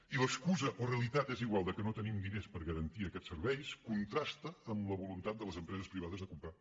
i l’excusa o realitat és igual que no tenim diners per garantir aquests serveis contrasta amb la voluntat de les empreses privades de comprar